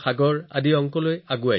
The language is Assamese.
এই শ্লোকত সংখ্যাৰ ক্ৰমৰ বিষয়ে কোৱা হৈছে